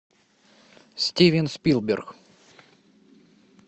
стивен спилберг